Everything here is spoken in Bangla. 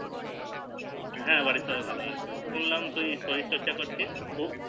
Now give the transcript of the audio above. হ্যাঁ বাড়ির সবাই ভালো আছে শুনলাম তুই শরীর চর্চা করছি খুব